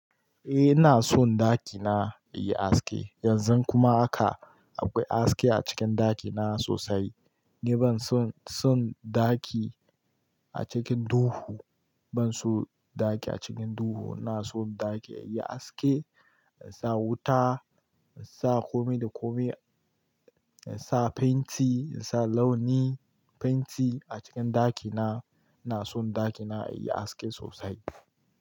Eh ina son ɗakina yayi haske. Yanzu kuma aka akwai aske a cikin ɗakina sosai. Ni ban son, son ɗaki a cikin duhu. Ban son ɗaki a cikin duhu. Ina son ɗaki yayi haske, yasa wuta, yasa kome da kome, yasa fenti, yasa launi fenti a cikin ɗakina. Na son ɗakina yayi haske sosai.